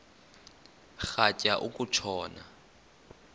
rhatya uku tshona